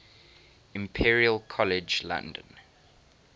imperial college london